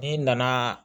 N'i nana